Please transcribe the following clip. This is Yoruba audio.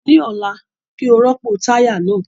Ní ọ̀la, kí ó rọ́pò táyà náà